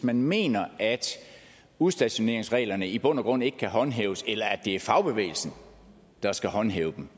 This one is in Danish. man mener at udstationeringsreglerne i bund og grund ikke kan håndhæves eller at det er fagbevægelsen der skal håndhæve